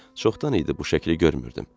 Çoxdan idi bu şəkli görmürdüm.